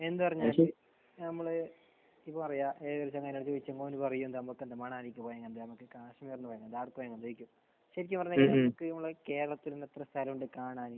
എന്ത് പറഞ്ഞാലും നമ്മൾ ഏഹ് പറയാ മണാലിയിൽ പോയാലെന്താണ്. നമുക്ക് കാശ്മീരിലും എല്ലായിടത്തും . ശരിക്കും പറഞ്ഞ് കഴിഞ്ഞാൽ എനിക്ക് നമ്മുടെ കേരളത്തിൽ തന്നെ എത്ര സ്ഥലമുണ്ട് കാണാൻ.